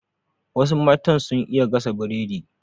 Wasu matan sun iya gasa Biredi